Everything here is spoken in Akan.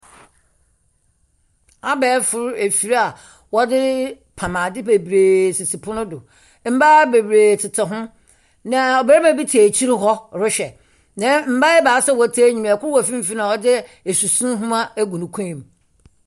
Abɛɛfo afir a wɔdze pam adze bebree sisi pon do. Mmaa bebree tete ho, na barima bi te akyir hɔ rehwɛ. Na mmaa ebaasa a wɔte enyim, kor wɔ mfimfin a ɔdze asusu homa agu ne kɔn mu.